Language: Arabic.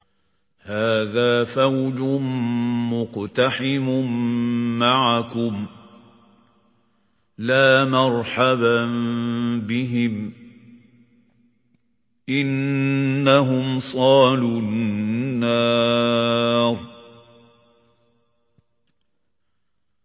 هَٰذَا فَوْجٌ مُّقْتَحِمٌ مَّعَكُمْ ۖ لَا مَرْحَبًا بِهِمْ ۚ إِنَّهُمْ صَالُو النَّارِ